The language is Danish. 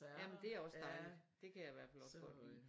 Ja men det er også dejligt det kan jeg i hvert fald også godt lide